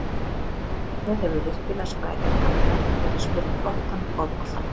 Leiknir hefur virkilega spræka kantmenn og getur spilað flottan fótbolta.